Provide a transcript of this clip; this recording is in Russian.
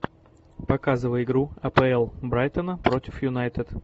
показывай игру апл брайтона против юнайтед